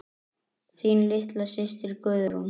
Þín litla systir Guðrún.